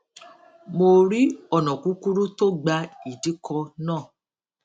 mo rí ònà kúkúrú tó gba ìdíkọ náà